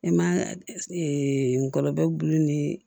E ma ngɔlɔbɛ gulonnen nii